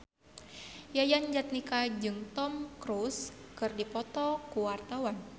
Yayan Jatnika jeung Tom Cruise keur dipoto ku wartawan